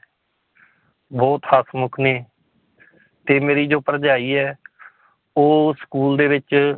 ਬਹੁਤ ਹਸਮੁੱਖ ਨੇ ਤੇ ਮੇਰੀ ਜੋ ਭਰਜਾਈ ਹੈ ਉਹ school ਦੇ ਵਿੱਚ